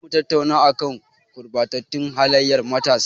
Za mu tattauna a kan gurɓatattun halayyar matasa.